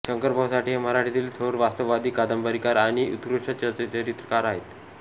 शंकर भाऊ साठे हे मराठीतील थोर वास्तववादी कादंबरीकार आणि उत्कृष्ट चरित्रकार आहेत